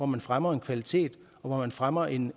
man fremmer en kvalitet og hvor man fremmer en